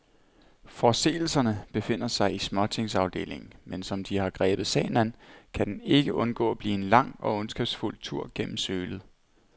Forseelserne befinder sig i småtingsafdelingen, men som de har grebet sagen an, kan den ikke undgå at blive en lang og ondskabsfuld tur gennem sølet.